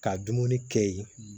Ka dumuni kɛ yen